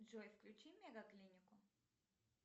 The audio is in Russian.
джой включи мегаклинику